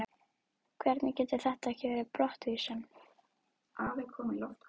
Hvernig getur þetta ekki verið brottvísun?